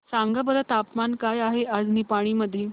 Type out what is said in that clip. सांगा बरं तापमान काय आहे आज निपाणी मध्ये